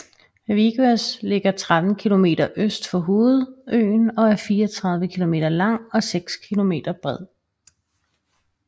Vieques ligger 13 km øst for hovedøen og er 34 km lang og 6 km bred